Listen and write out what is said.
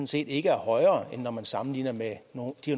set ikke er højere end når man sammenligner med